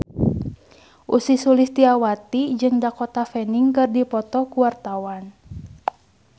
Ussy Sulistyawati jeung Dakota Fanning keur dipoto ku wartawan